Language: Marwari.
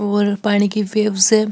और पाणी की वेव्स है।